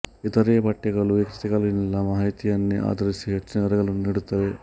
ಇತರೆ ಪಠ್ಯಗಳು ಈ ಕೃತಿಗಳಲ್ಲಿನ ಮಾಹಿತಿಯನ್ನೇ ಆಧರಿಸಿ ಹೆಚ್ಚಿನ ವಿವರಗಳನ್ನು ನೀಡುತ್ತವೆ